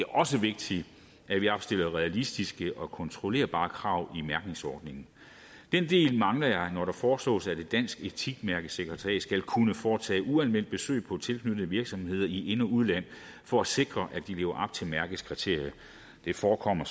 også vigtigt at vi opstiller realistiske og kontrollerbare krav i mærkningsordningen den del mangler jeg når det foreslås at et dansk etikmærkesekretariat skal kunne foretage uanmeldt besøg på tilknyttede virksomheder i ind og udland for at sikre at de lever til mærkets kriterier det forekommer